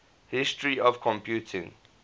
history of computing